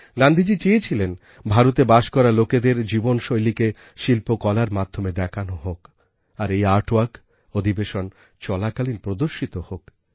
গান্ধীজী চেয়েছিলেন ভারতে বাস করা লোকেদের জীবনশৈলীকে শিল্পকলার মাধ্যমে দেখানো হোক আর এই আর্ট ভর্ক অধিবেশন চলাকালীন প্রদর্শিত হোক